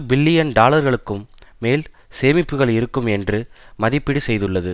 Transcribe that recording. billion டாலர்களுக்கும் மேல் சேமிப்புக்கள் இருக்கும் என்று மதிப்பீடு செய்துள்ளது